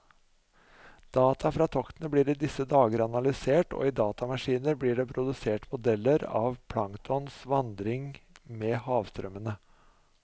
Data fra toktene blir i disse dager analysert, og i datamaskiner blir det produsert modeller av planktons vandring med havstrømmene.